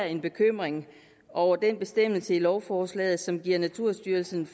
en bekymring over den bestemmelse i lovforslaget som giver naturstyrelsen